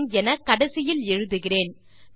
1 என கடைசியில் எழுதுகிறேன்